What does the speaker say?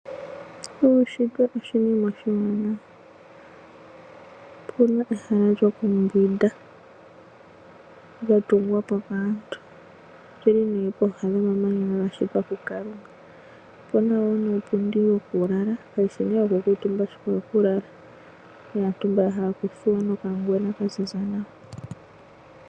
Uushitwe oshina oshiwanawa Opuna ehala lyoku mbwinda lya tungwapo kaantu olili nee pooha no mamanya ga shitwa kukalunga . Opuna woo nuupundi wokulala kawushi nee woku kuutumba ashike owo kulala naantu ya kuutumba noka ngwena kaziza nawa